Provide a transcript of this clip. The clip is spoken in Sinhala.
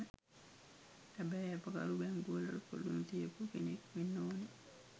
හැබැයි ඇපකරු බැංකුවලට පොලු නොතියපු කෙනෙක් වෙන්න ඕනෙ.